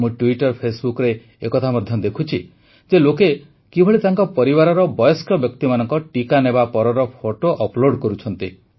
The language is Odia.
ମୁଁ ଟ୍ୱିଟର୍ଫେସବୁକରେ ଏକଥା ମଧ୍ୟ ଦେଖୁଛି ଯେ ଲୋକେ କିଭଳି ତାଙ୍କ ପରିବାରର ବୟସ୍କ ବ୍ୟକ୍ତିମାନଙ୍କ ଟିକା ନେବା ପରର ଫଟୋ ଅପ୍ଲୋଡ କରୁଛନ୍ତି